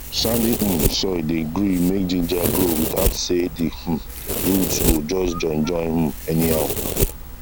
sandy um soil dey gree make ginger grow without say the um root go just join join um anyhow